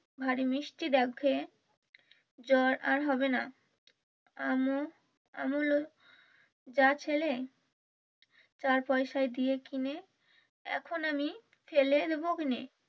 ভারী মিষ্টি ডাব খেয়ে জ্বর আর হবেনা এম ও চা খেলে চার পয়সা দিয়ে এখন আমি ফেলে নিবো কেনে